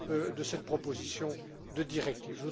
de cette proposition de directive.